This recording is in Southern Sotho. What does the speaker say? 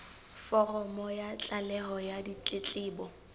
foromo ya tlaleho ya ditletlebo